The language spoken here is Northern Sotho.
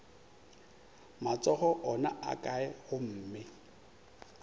matsogo ona a kae gomme